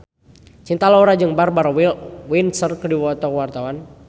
Cinta Laura jeung Barbara Windsor keur dipoto ku wartawan